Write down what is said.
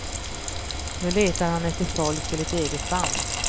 Nu letar han efter folk till ett eget band.